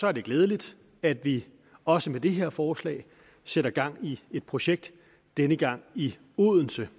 er det glædeligt at vi også med det her forslag sætter gang i et projekt denne gang i odense